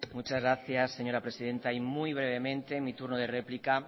muchas gracias señora presidenta y muy brevemente mi turno de réplica